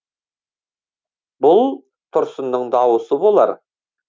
бұл тұрсынның дауысы болар